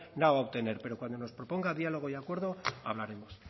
no va a obtener pero cuando nos proponga diálogo y acuerdo hablaremos